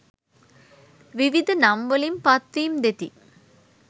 විවිධ නම් වලින් පත් වීම් දෙති.